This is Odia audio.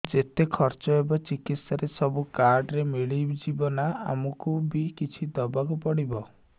ଯେତେ ଖର୍ଚ ହେବ ଚିକିତ୍ସା ରେ ସବୁ କାର୍ଡ ରେ ମିଳିଯିବ ନା ଆମକୁ ବି କିଛି ଦବାକୁ ପଡିବ